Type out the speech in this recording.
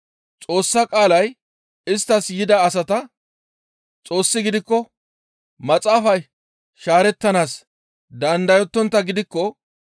Xoossa qaalay isttas yida asata, ‹Xoossi giikko Maxaafay shaarettanaas dandayonttaa gidikko›